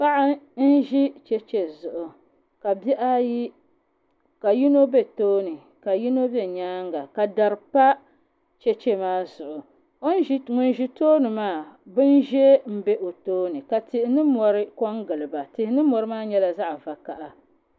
paɣa n ʒi cheche zuɣu ka bihi ayi ka yino be tooni ka yino be nyaanga ka dari pa cheche maa zuɣu ŋun ʒi tooni maa bini ʒee m-be o tooni ka tihi ni mɔri ko n gili ba tihi ni mɔri maa nyɛla zaɣ' vakaha